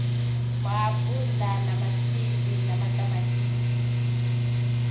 maapula na maṱamatisi na maswiri